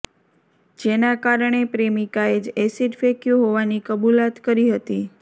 જેના કારણે પ્રેમિકાએ જ એસીડ ફેંક્યું હોવાની કબુલાત કરી હતી